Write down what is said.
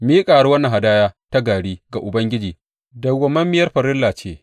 Miƙawar wannan hadaya ta gari ga Ubangiji dawwammamiyar farilla ce.